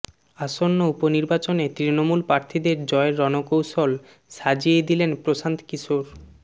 আসন্ন উপনির্বাচনে তৃণমূল প্রার্থীদের জয়ের রণকৌশল সাজিয়ে দিলেন প্রশান্ত কিশোর